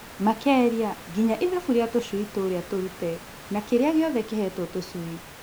Makelia nginya ithabu rĩa tũshui tũrĩa tũrute na kĩrĩaĩ gĩothe kĩhetwo tũshui